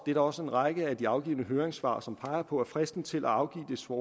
da også en række af de afgivne høringssvar som peger på at fristen til at afgive svar